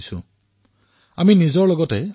নিজকে ফিট কৰি ৰাখিব লাগিব